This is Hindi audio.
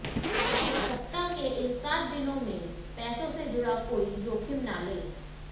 सप्ताह के इन सात दिनों में पैसों से जुड़ा कोई जोखिम न लें